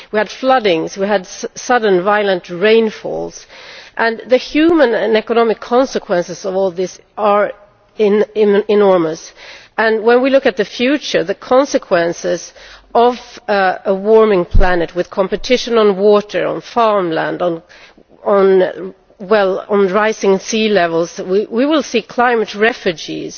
We had floods, we had sudden violent rainfall and the human and economic consequences of all this are enormous. When we look at the future, the consequences of a warming planet with competition for water and for farmland, with rising sea levels, we will see climate refugees